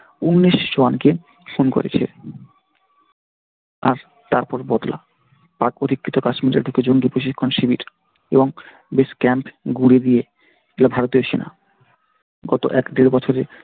উনিশ জনকে খুন করেছে আর তারপরে বদলা তারই পরিপ্রেক্ষিতে কাশ্মীরের বুকে জঙ্গি প্রশিক্ষণ শিবির এবং বেশ camp গুঁড়িয়ে দিয়ে দিল ভারতীয় সেনা গত এক-দেড় বছরে,